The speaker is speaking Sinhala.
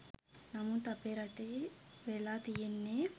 නමුත් අපේ රටේ වෙලා තියෙන්නේ